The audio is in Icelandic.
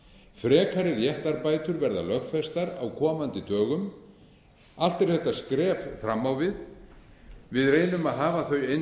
frekari réttarbætur verða lögfestar á komandi dögum allt eru þetta skref fram á við við reynum að hafa þau eins